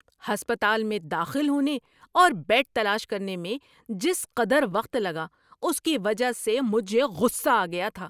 ہسپتال میں داخل ہونے اور بیڈ تلاش کرنے میں جس قدر وقت لگا، اس کی وجہ سے مجھے غصہ آ گیا تھا۔